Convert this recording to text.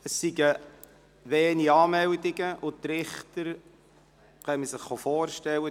Es seien wenige Anmeldungen eingegangen, und die Richter kommen, um sich vorzustellen.